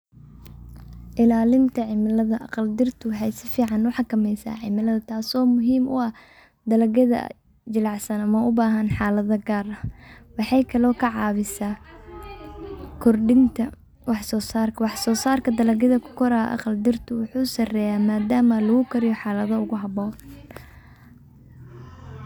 Ilalinta cimilada, aqaldirta waxay si fican uu xakameysaa cimilada taaso muhim u ag dalagyada jilacsan ama ubahan xalada gaar ah waxaa kaley ka caabisa kordinta wax soo sarka, wax soo sarka dalagyada kukorra aqaldirtu wuxuu sareeya madama lugu koriya xaalada ugu haboon.